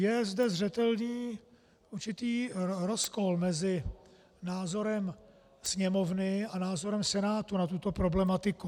Je zde zřetelný určitý rozkol mezi názorem Sněmovny a názorem Senátu na tuto problematiku.